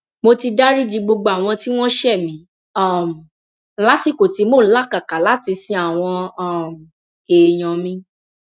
mo ti dariji gbogbo àwọn tí wọn ṣẹ mí um lásìkò tí mò ń làkàkà láti sin àwọn um èèyàn mi